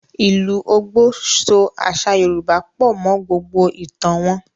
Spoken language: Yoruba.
Ìlù Ògbò, so àṣà Yorùbá pọ̀ mọ́ gbògbò ìtàn wọn.